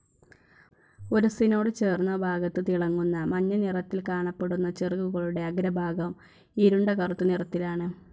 ഉരസ്സിനോട് ചേർന്ന ഭാഗത്ത് തിളങ്ങുന്ന മഞ്ഞ നിറത്തിൽ കാണപ്പെടുന്ന ചിറകുകളുടെ അഗ്രഭാഗം ഇരുണ്ട കറുത്ത നിറത്തിലാണ്.